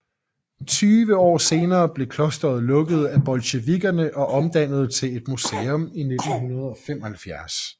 Tyve år senere blev klosteret lukket af bolsjevikkerne og omdannet til et museum i 1975